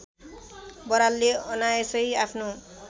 बरालले अनायासै आफ्नो